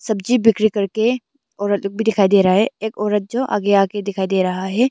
सब्जी बिक्री करके औरत लोग भी दिखाई दे रहा है एक औरत जो आगे आगे दिखाई दे रहा है।